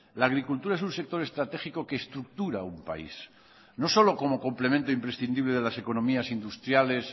la agricultura es un sector estratégico que estructura un país no solo como complemento imprescindible de las economías industriales